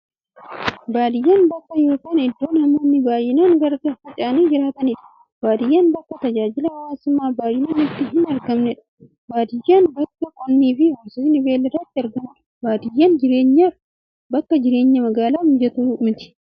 Baadiyyaan bakka yookiin iddoo namoonni baay'inaan gargar faca'anii jiraataniidha. Baadiyyaan bakka tajaajilli hawwaasummaa baay'inaan itti hin argamneedha. Baadiyyaan bakka qonnifi horsiisni beeyladaa itti argamuudha. Baadiyyaan jireenyaaf akka jireenya magaalaa mijattuu miti.